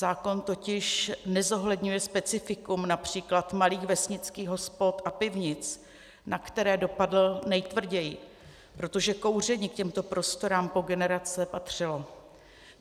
Zákon totiž nezohledňuje specifikum například malých vesnických hospod a pivnic, na které dopadl nejtvrději, protože kouření k těmto prostorám po generace patřilo.